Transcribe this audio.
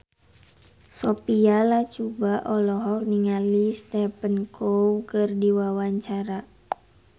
Sophia Latjuba olohok ningali Stephen Chow keur diwawancara